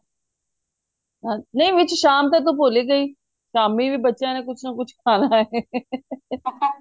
ਨਹੀਂ ਵਿੱਚ ਸ਼ਾਮ ਤੇ ਤੂੰ ਭੁੱਲ ਹੀ ਗਈ ਸ਼ਾਮੀ ਵੀ ਬੱਚਿਆਂ ਨੇ ਕੁੱਝ ਨਾ ਕੁੱਝ ਖਾਣਾ